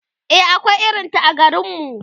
e akwai irinta a garinmu